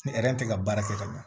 Ni tɛ ka baara kɛ ka ɲa